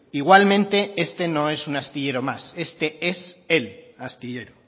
igualmente este no es un astillero más este es el astillero